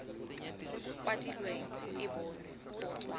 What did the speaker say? kwadilweng e bonwe go tswa